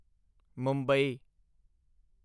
Mumbai